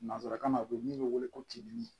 Nansarakan na u bɛ min bɛ wele ko cidili